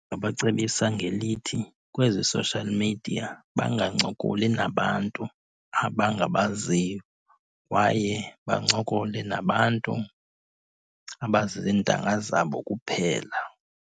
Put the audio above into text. Ndingabacebisa ngelithi kwezi social media bangancokoli nabantu abangabaziyo, kwaye bancokole nabantu abazizintanga zabo kuphela.